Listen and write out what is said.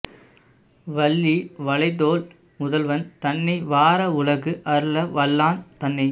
வள்ளி வளைத்தோள் முதல்வன் தன்னை வாரா உலகு அருள வல்லான் தன்னை